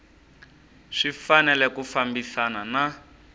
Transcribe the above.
swi fanele ku fambisana na